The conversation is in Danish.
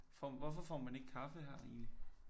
Får hvorfor får man ikke kaffe her egentlig?